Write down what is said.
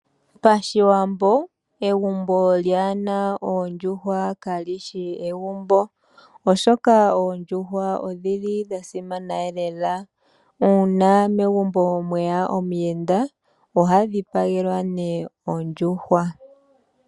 Pashiwambo egumbo lyaa na oodjuhwa kali shi egumbo, oshoka oondjuhwa odhi li dha simana lela uuna megumbo mwe ya omuyenda oha dhipagelwa ondjuhwa.